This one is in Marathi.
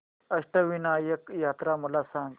अष्टविनायक यात्रा मला सांग